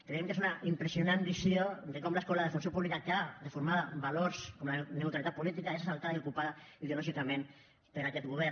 creiem que és una impressionant visió de com l’escola de funció pública que ha de formar valors com la neutralitat política és assaltada i ocupada ideològicament per aquest govern